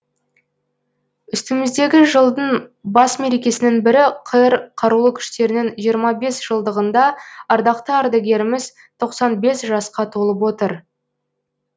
үстіміздегі жылдың бас мерекесінің бірі қр қарулы күштерінің жиырма бес жылдығында ардақты ардагеріміз тоқсан бес жасқа толып отыр